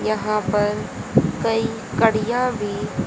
यहां पर कई कड़िया भी--